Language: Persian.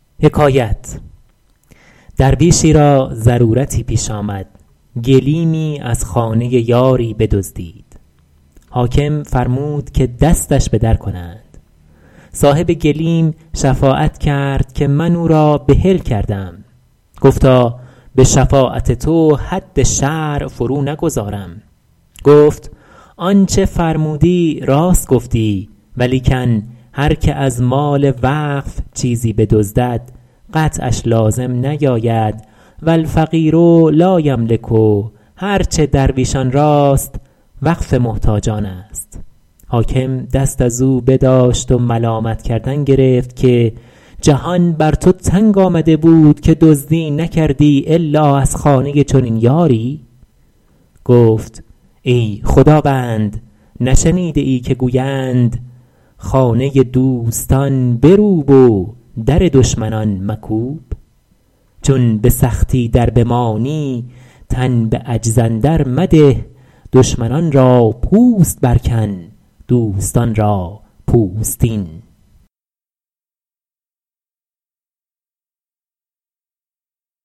درویشی را ضرورتی پیش آمد گلیمی از خانه یاری بدزدید حاکم فرمود که دستش بدر کنند صاحب گلیم شفاعت کرد که من او را بحل کردم گفتا به شفاعت تو حد شرع فرو نگذارم گفت آنچه فرمودی راست گفتی ولیکن هر که از مال وقف چیزی بدزدد قطعش لازم نیاید و الفقیر لایملک هر چه درویشان راست وقف محتاجان است حاکم دست از او بداشت و ملامت کردن گرفت که جهان بر تو تنگ آمده بود که دزدی نکردی الا از خانه چنین یاری گفت ای خداوند نشنیده ای که گویند خانه دوستان بروب و در دشمنان مکوب چون به سختی در بمانی تن به عجز اندر مده دشمنان را پوست بر کن دوستان را پوستین